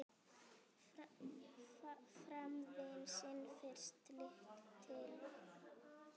Fram vann sinn fyrsta titil.